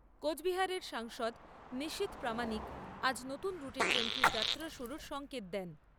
কোচবিহারের সাংসদ নিশীথ প্রামানিক আজ নতুন রুটে ট্রেনটির যাত্রা শুরুর সঙ্কেত দেন।